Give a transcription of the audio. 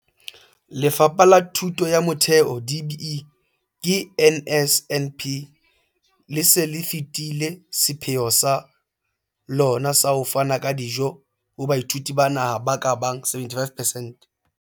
Lefapha la Thuto ya Motheo, DBE, ka NSNP, le se le fetile sepheo sa lona sa ho fana ka dijo ho baithuti ba naha ba ka bang 75 percent.